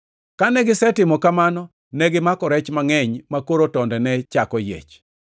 Kane gisetimo kamano, negimako rech mangʼeny makoro tonde ne chako yiech.